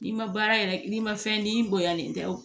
N'i ma baara yɛrɛ n'i ma fɛn di bonyalen tɛ wo